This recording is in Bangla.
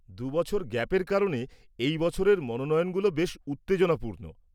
দু'বছর গ্যাপের কারণে এই বছরের মনোনয়নগুলো বেশ উত্তেজনাপূর্ণ।